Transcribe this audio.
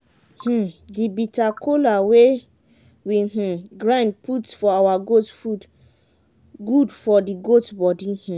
um the bitter cola wey we um grind put for our goat food good for the goat body. um